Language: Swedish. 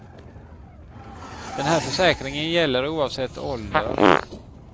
Den här försäkringen gäller oavsett ålder.